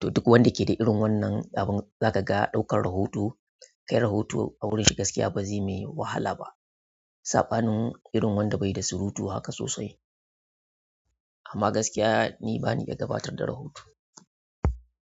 To duk wanda ke da irin wannan abun, za ka ga ɗaukar rahoto kai rahoto a wurin shi gaskiya ba zai mai wahala ba. Saɓanin irin wanda bai da surutu haka sosai. Kuma nima gaskiya ni bani da gabatar da rahoto.